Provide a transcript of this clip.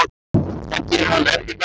Það gerir hann enn í dag.